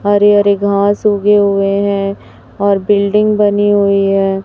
हरे हरे घास उगे हुए हैं और बिल्डिंग बनी हुई है।